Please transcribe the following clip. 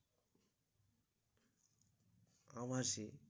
আবাসে